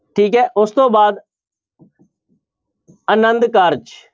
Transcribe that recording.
ਠੀਕ ਹੈ ਉਸ ਤੋਂ ਬਾਅਦ ਆਨੰਦ ਕਾਰਜ।